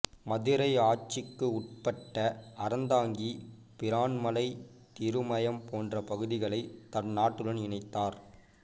மதுரை ஆட்சிகுட்பட்ட அறந்தாங்கி பிறான்மலை திருமயம் போன்ற பகுதிகளை தன் நாட்டுடன் இணைத்தார்